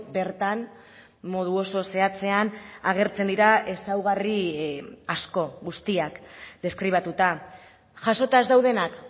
bertan modu oso zehatzean agertzen dira ezaugarri asko guztiak deskribatuta jasota ez daudenak